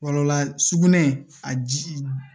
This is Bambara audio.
Wala sugunɛ a ji